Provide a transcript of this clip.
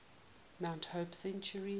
mount hope cemetery